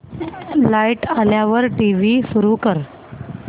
light आल्यावर TV सुरू कर